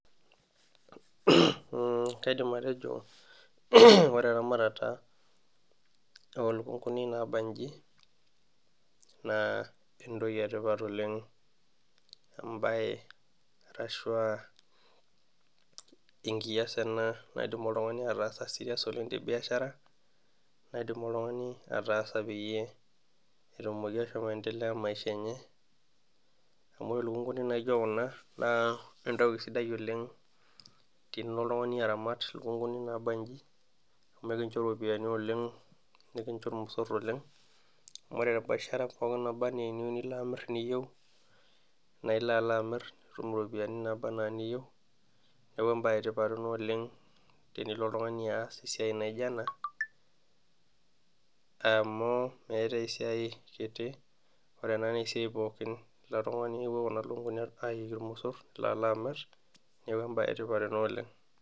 Kaidim atejo ore eramatata oolukunkuni naabanji naa entoki etipat oleng ,enkias ena naidim oltungani ataasa serious tebiashara, naidim oltungani ataasa peyie etumoki ashomo aendelea maisha enye ,amu ore entoki sidai naijo ena naa entoki sidai oleng tenilo oltungani aramat lukunkuni naabanji amu ekincho ropiyiani oleng nikincho ormosor oleng ,amu ore pooki rishata niyieu nilo amir ,naa ilo alo amir nitum ropiyiani naaba anaa niyieu ,neeku embae etipat ena oleng tenilo oltungani aas esiai naijo ena ,amu meetae esiai kiti ore ena naa esiai pookin tilo tungani amu epuo Kuna lukunkuni ayui ormosor neeku embae etipat oleng.